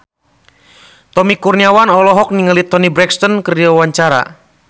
Tommy Kurniawan olohok ningali Toni Brexton keur diwawancara